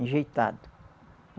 Enjeitado.